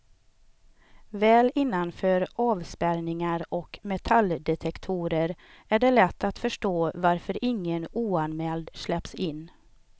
Väl innanför avspärrningar och metalldetektorer är det lätt att förstå varför ingen oanmäld släpps in.